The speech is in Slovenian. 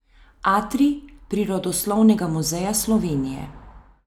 Atrij Prirodoslovnega muzeja Slovenije.